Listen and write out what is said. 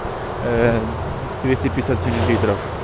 аа двести пятьдесят миллилитров